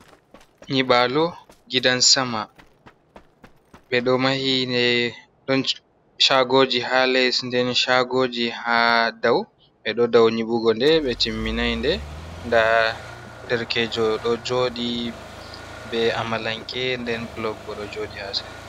Nyibalo Gidan-Sama: Ɓeɗo mahi nde ɗon shagoji ha les nden shagoji ha dau. Ɓeɗo dou nyiɓugo nde ɓe timminai nde. Nda derkejo ɗo joɗi be amalanke nden blok bo ɗo joɗi ha sera.